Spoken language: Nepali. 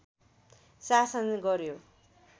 शासन गर्‍यो